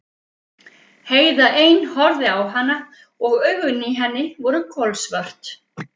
Heiða ein horfði á hana og augun í henni voru kolsvört.